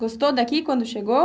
Gostou daqui quando chegou?